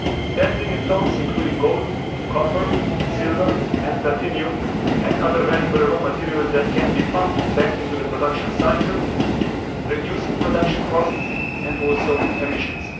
10 million tonnes including gold, copper, silver and platinum and other valuable raw materials that can be pumped back into the production cycle, reducing production costs and also emissions.